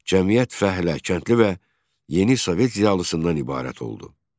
Cəmiyyət fəhlə, kəndli və yeni sovet ziyalısından ibarət oldu.